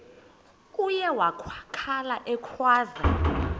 uye wakhala ekhwaza